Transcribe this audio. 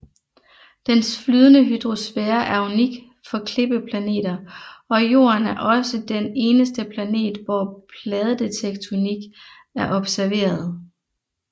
Dens flydende hydrosfære er unik for klippeplaneter og Jorden er også den eneste planet hvor pladetektonik er observeret